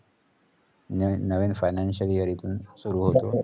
नवीन financial year इथून सुरु होत